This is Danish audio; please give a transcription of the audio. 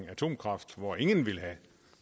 atomkraft hvor ingen ville have